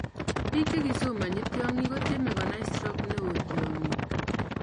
Biik che kisomonchi tyongik kotyeme konai stroke neo tyongik